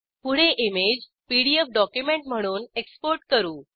पुढे image PDF document म्हणून export करू